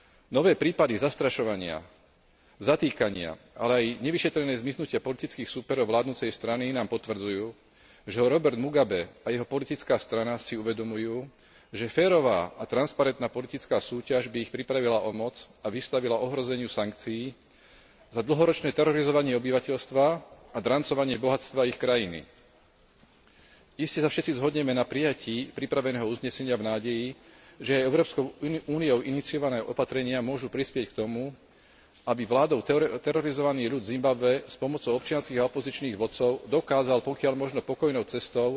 Nové prípady zastrašovania, zatýkania, ale aj nevyšetrené zmiznutia politických súperov vládnucej strany nám potvrdzujú, že Robert Mugabe a jeho politická strana si uvedomujú, že férová a transparentná politická súťaž by ich pripravila o moc a vystavila ohrozeniu sankcií za dlhoročné terorizovanie obyvateľstva a drancovanie bohatstva ich krajiny. Iste sa všetci zhodneme na prijatí pripraveného uznesenia v nádeji, že Európskou úniou iniciované opatrenia môžu prispieť k tomu, aby vládou terorizovaný ľud Zimbabwe, s pomocou občianskych a opozičných vodcov, dokázal, pokiaľ možno pokojnou cestou,